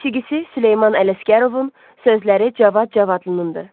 Musiqisi Süleyman Ələsgərovun, sözləri Cavad Cavadlınınkıdır.